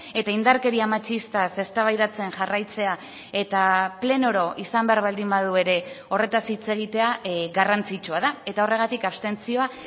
eta indarkeria matxistaz eztabaidatzen jarraitzea eta pleno oro izan behar baldin badu ere horretaz hitz egitea garrantzitsua da eta horregatik abstentzioa